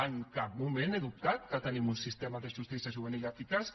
en cap moment he dubtat que tinguem un sistema de justícia juvenil eficaç